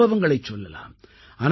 பல சம்பவங்களைச் சொல்லலாம்